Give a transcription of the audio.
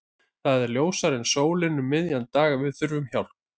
Það er ljósara en sólin um miðjan dag að við þurfum hjálp.